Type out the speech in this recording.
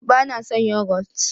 ba na san yogot